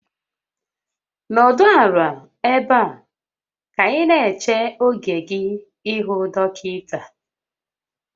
Nọdụ ala ebe a ka ị na-eche oge gị ịhụ dọkịta